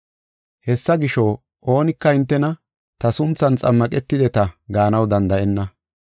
Hessa gisho, oonika hintena ta sunthan xammaqetideta gaanaw danda7enna.